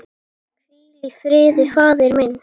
Hvíl í friði faðir minn.